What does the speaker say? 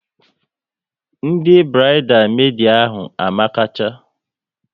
Ndị burides medi ahụ amakacha